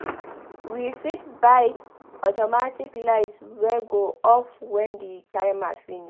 We fit buy automatic light wey go off when the timer finish